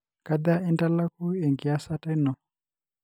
kaja intalaku engiasata ino?